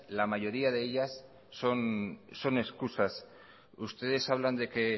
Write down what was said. son excusas ustedes hablan de que